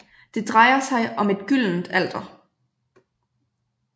Det drejer sig om et gyldent alter